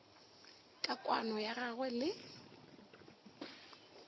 ka kwano ya gagwe le